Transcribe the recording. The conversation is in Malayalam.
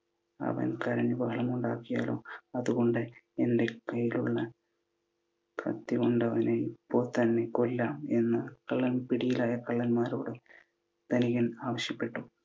അവൻ കരഞ്ഞു ബഹളമുണ്ടാക്കിയാലോ. അതുകൊണ്ടു, എൻ്റെ കൈയിലുള്ള കത്തി കൊണ്ട് അവനെ ഇപ്പോൾ തന്നെ കൊല്ലാം എന്ന് പിടിയിലായ കള്ളന്മാരോട് ധനികൻ ആവശ്യപ്പെട്ടു.